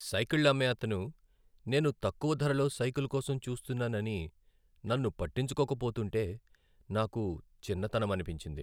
సైకిళ్ళు అమ్మే అతను నేను తక్కువ ధరలో సైకిల్ కోసం చూస్తున్నానని నన్ను పట్టించుకోక పోతుంటే నాకు చిన్నతనమనిపించింది.